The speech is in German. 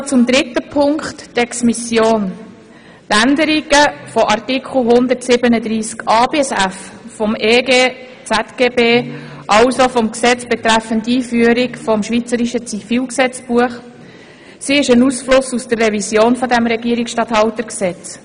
Zum dritten Punkt, Exmissionen: Die Änderung der Artikel 137a–g des Gesetzes betreffend Einführung des Schweizerischen Zivilgesetzbuches (EG ZGB) ist eine Auswirkung der Revision dieses Regierungsstatthaltergesetzes.